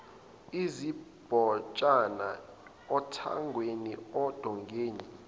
izimbotshana othangweni ondongeni